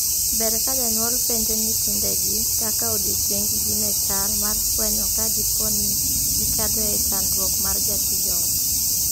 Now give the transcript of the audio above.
Ber ka jonyuol penjo nyithindegi kaka odiechienggi ne chal mar fwenyo ka dipo ne gikadhoe chandruok mar jatij ot.